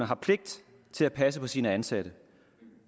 har pligt til at passe på sine ansatte